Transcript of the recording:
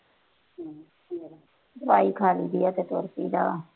ਦਵਾਈ ਖਾਈ ਦੀ ਏ ਫੇਰ ਤੁਰ ਜੀ ਦਾ